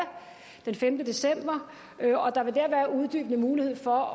den femte december og der vil dér være mulighed for